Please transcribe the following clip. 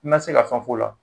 I ma se ka fɛn f'o la